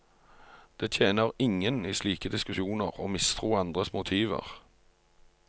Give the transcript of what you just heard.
Det tjener ingen i slike diskusjoner å mistro andres motiver.